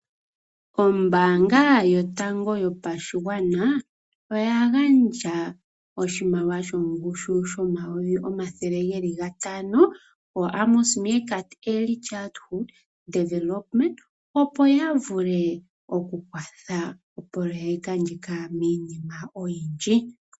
Ombaanga yotango yopashigwana oya gandja oshimaliwa shongushu yooN$ 500 000.00 koAmos Meerkat Early Childhood Development, opo ya vule okukwatha opoloyeka ndjika miinima oyindji.